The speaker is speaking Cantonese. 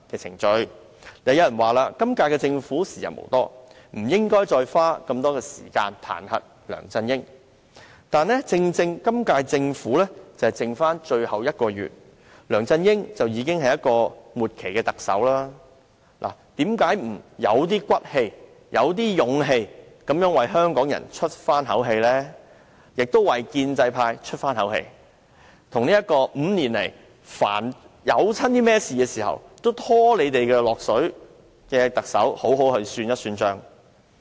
然而，有人說今屆政府已時日無多，不應該再花時間彈劾梁振英，但正因為今屆政府任期只剩下最後1個月，梁振英已是"末期特首"，何不有骨氣地、有勇氣地為香港人出一口氣，為建制派出一口氣，與這位5年來凡事都拖累他們的特首好好算帳？